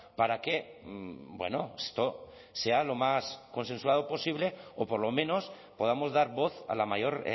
para que esto sea lo más consensuado posible o por lo menos podamos dar voz a la mayor